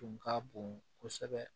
Tun ka bon kosɛbɛ